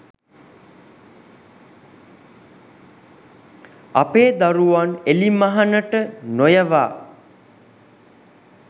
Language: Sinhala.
අපේ දරුවන් එළිමහනට නොයවා